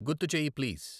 గుర్తు చెయ్యి ప్లీజ్.